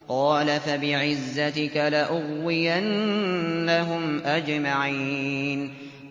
قَالَ فَبِعِزَّتِكَ لَأُغْوِيَنَّهُمْ أَجْمَعِينَ